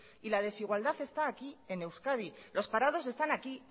y la desigualdad está aquí en euskadi los parados están aquí